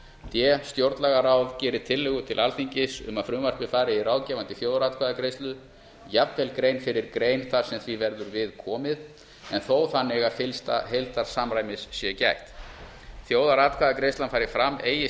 d stjórnlagaráð geri tillögu til alþingis um að frumvarpið fari í ráðgefandi þjóðaratkvæðagreiðslu jafnvel grein fyrir grein þar sem því verður við komið en þó þannig að fyllsta heildarsamræmis sé gætt þjóðaratkvæðagreiðslan fari fram eigi